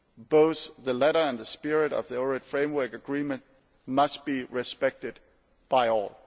Both the letter and the spirit of the Ohrid Framework Agreement must be respected by all.